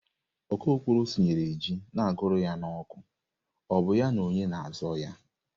Okokporo sinyere ji na-agụrụ ya n'oku, ọ bụ ya na onye na-azọ ya?